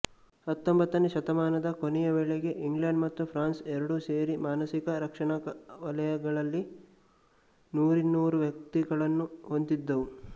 ಹತ್ತೊಂಬತ್ತನೇ ಶತಮಾನದ ಕೊನೆಯ ವೇಳೆಗೆ ಇಂಗ್ಲೆಂಡ್ ಮತ್ತು ಫ್ರಾನ್ಸ್ ಎರಡೂ ಸೇರಿ ಮಾನಸಿಕ ರಕ್ಷಣಾಲಯಗಳಲ್ಲಿ ನೂರಿನ್ನೂರು ವ್ಯಕ್ತಿಗಳನ್ನು ಹೊಂದಿದ್ದವು